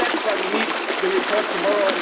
That is why we need the report tomorrow.